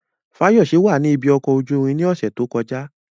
Fayose wà ní ibi ọkọ̀ ojú irin ní ọ̀sẹ̀ tó kọjá.